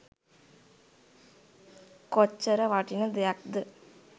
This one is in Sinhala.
කොච්චර වටින දෙයක්ද.